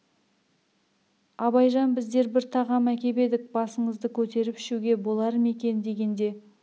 абайжан біздер бір тағам әкеп едік басыңызды көтеріп ішуге болар ма екен дегенде